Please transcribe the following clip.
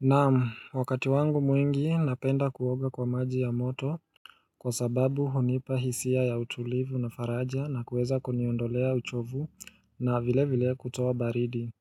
Naam wakati wangu mwingi napenda kuoga kwa maji ya moto kwa sababu hunipa hisia ya utulivu na faraja na kuweza kuniondolea uchovu na vilevile kutoa baridi